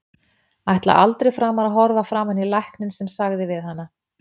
Ætlar aldrei framar að horfa framan í lækninn sem sagði við hana.